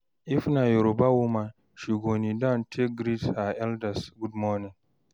if na Yoruba woman, she go kneel down take greet her elders gud morning